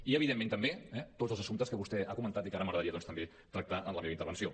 i evidentment també tots els assumptes que vostè ha comentat i que ara m’agradaria doncs també tractar en la meva intervenció